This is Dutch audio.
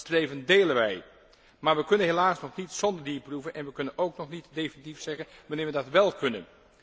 Dat streven delen wij, maar we kunnen helaas nog niet zonder dierproeven en we kunnen ook nog niet definitief zeggen wanneer we dat wél kunnen.